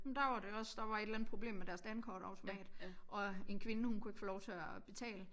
Det var det også der var et eller andet problem med deres dankortautomat og en kvinde hun kunne ikke få lov til at betale